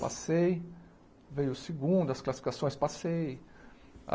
Passei, veio o segundo, as classificações, passei.